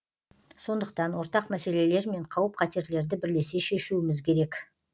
сондықтан ортақ мәселелер мен қауіп қатерлерді бірлесе шешуіміз керек